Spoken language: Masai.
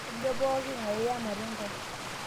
kejo pooking'ae iyamate ntae